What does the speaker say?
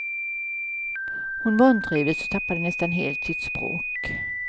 Hon vantrivdes och tappade nästan helt sitt språk.